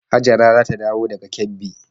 Hajara za ta dawo daga Kebbi.